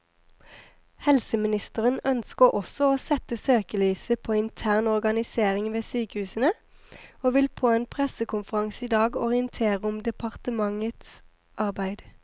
Helseministeren ønsker også å sette søkelyset på intern organisering ved sykehusene, og vil på en pressekonferanse i dag orientere om departementets arbeid.